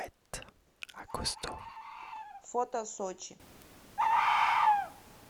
фото сочи